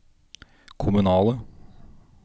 kommunale